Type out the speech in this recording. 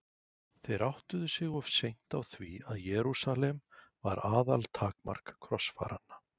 Þeir áttuðu sig of seint á því að Jerúsalem var aðaltakmark krossfaranna.